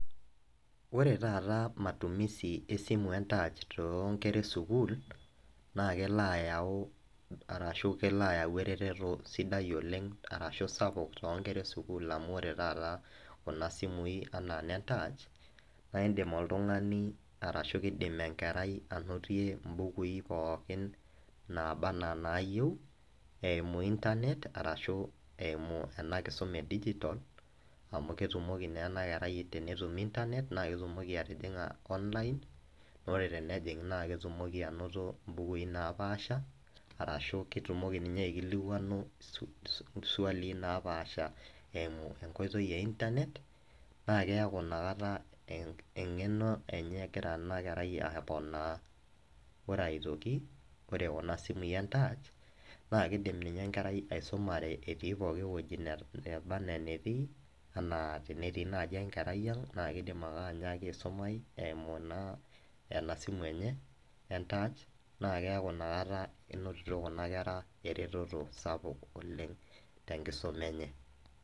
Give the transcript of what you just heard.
ore taata matumisi esimu e taach too nkera esukuul, naa kelo, ayau arashu kelo ayau eretoto sidai oleng, arashu sapuk too nkera esukuul amu ore taata kuna simui anaa ine ntaach naa idim oltungani, kidim enkerai anotie imbukui pookin, naaba anaa inaayieu eimu internet arashu eimu ena kisuma e digital amu ketuoki naa ena kerai aa tenetum internet naa ketumoki atijinga online naa ore tenejing' naa ketumoki anoto mbukui napaasha, arashu ketumoki ninye aikilikuanu isuali napaasha eimu enkoitoi e internet naa keeku ina kata engeno enye egira ina kerai aaponaa, ore aitok ore kuna simui e ntaach, naa kidim ninye enkerai aisumare etiii pooki wueji neba anaa eneti, ana tenetii naaji enkerai ang naa kidim ake aismayu eimu ena simu enye entaac, naa keeku inakata enotito kuna kera eretoto. sapuk oleng tenkusma enye.